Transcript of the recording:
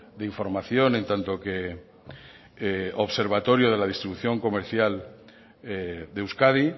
de información en tanto que observatorio de la distribución comercial de euskadi